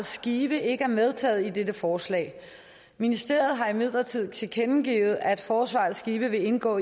skive ikke er medtaget i dette forslag ministeriet har imidlertid tilkendegivet at forsvaret i skive vil indgå